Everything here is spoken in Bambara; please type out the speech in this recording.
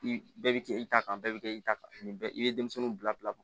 I bɛɛ bɛ kɛ i ta kan bɛɛ bɛ kɛ i ta kan nin bɛɛ i bɛ denmisɛnninw bila bila